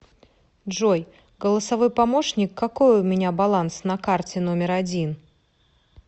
джой голосовой помощник какой у меня баланс на карте номер один